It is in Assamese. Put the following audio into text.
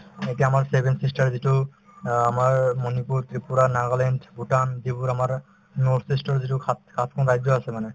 এতিয়া আমাৰ seven sister যিটো অ আমাৰ মণিপুৰ , ত্ৰিপুৰা, নাগালেণ্ড, ভূটান যিবোৰ আমাৰ north-east ৰ যিটো সাত সাত খন ৰাজ্য আছে মানে